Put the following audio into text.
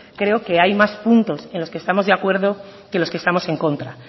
creo que hay más puntos en los que estamos de acuerdo que los que estamos en contra